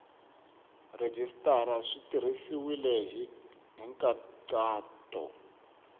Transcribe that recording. rhejisitara swi tirhisiwile hi nkhaqato